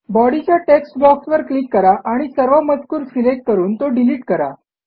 body च्या text बॉक्सवर click करा आणि सर्व मजकूर सिलेक्ट करून तो डिलिट करा